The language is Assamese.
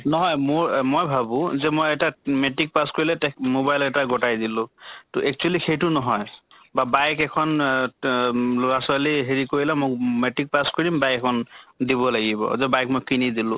নহয় মোৰ, মই ভাবো যে মই এটা উ matrix pass কৰিলে তে mobile এটা গটাই দিলো । তʼ actually সেইটো নহয় । বা bike এখন আ ত ত লʼৰা ছোৱালী হেৰি কৰিলে ম matrix pass কৰিম bike এখন দিব লাগিব, যে bike মই কিনি দিলো ।